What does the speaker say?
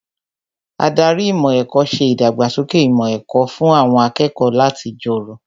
Ádárì ìmọ̀ ẹ̀kọ́ ṣe ìdàgbàsókè ìmọ̀ ẹ̀kọ́ fún àwọn akẹ́kọ̀ọ́ láti jọrọ̀